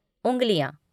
उंगलियां